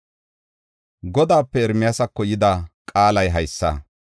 Godaape Ermiyaasako yida qaalay haysa: